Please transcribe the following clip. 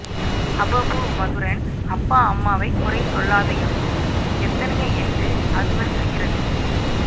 அபபு மதுரன் அப்பா அம்மா வை குறைசொல்லாதையப்பு எத்தனைய எண்டு அதுவள் செய்யிறது